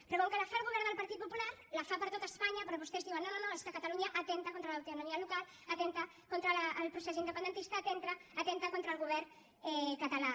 però com que la fa el govern del partit popular la fa per a tot espanya però vostès diuen no no no és que a catalunya atempta contra l’autonomia local atempta contra el procés independentista atempta contra el govern català